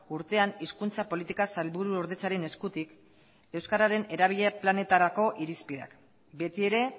urtean hizkuntza politika sailburuordetzaren eskutik euskararen erabilera planetarako irizpideak beti ere